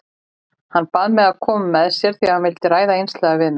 Hann bað mig að koma með sér því hann vildi ræða einslega við mig.